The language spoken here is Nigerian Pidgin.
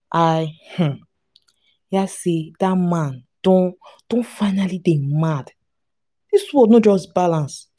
i um hear say dat man don don finally dey mad dis world no just balance